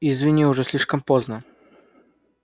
извини уже слишком поздно